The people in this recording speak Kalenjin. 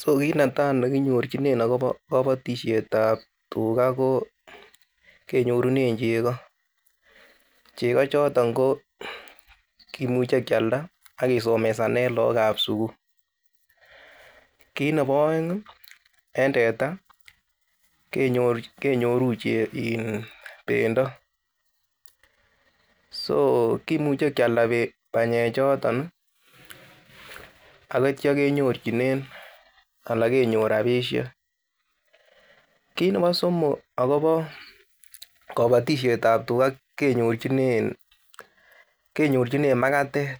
So kit netaa nekinyorchinen akobo kabatisietab tugaa, koo kenyorunen chekoo, chekoo choton koo kimuche kialda akisomesanen look ab sugul, kit ne bo aeng en tetaa kenyoruu iin bendo soo kimuche kyialda banyechoton ii akityia kenyorchinen anan kenyor rapisiek ,kit ne bo somok akopo kabatisietab tugaa kenyorchinen makatet